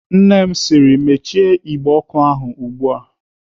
Nne m sịrị "Mechie igbe ọkụ ahụ ugbu a!"